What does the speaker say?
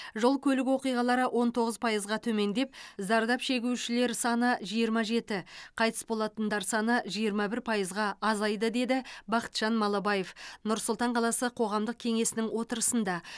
жол көлік оқиғалары он тоғыз пайызға төмендеп зардап шегушілер саны жиырма жеті қайтыс болатындар саны жиырма бір пайызға азайды деді бақытжан малыбаев нұр сұлтан қаласы қоғамдық кеңесінің отырысында